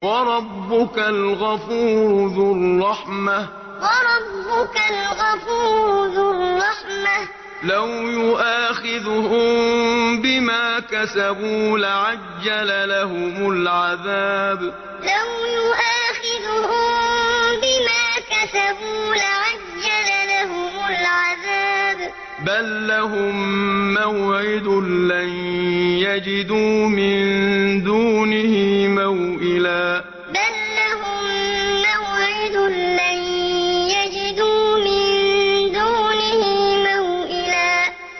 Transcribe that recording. وَرَبُّكَ الْغَفُورُ ذُو الرَّحْمَةِ ۖ لَوْ يُؤَاخِذُهُم بِمَا كَسَبُوا لَعَجَّلَ لَهُمُ الْعَذَابَ ۚ بَل لَّهُم مَّوْعِدٌ لَّن يَجِدُوا مِن دُونِهِ مَوْئِلًا وَرَبُّكَ الْغَفُورُ ذُو الرَّحْمَةِ ۖ لَوْ يُؤَاخِذُهُم بِمَا كَسَبُوا لَعَجَّلَ لَهُمُ الْعَذَابَ ۚ بَل لَّهُم مَّوْعِدٌ لَّن يَجِدُوا مِن دُونِهِ مَوْئِلًا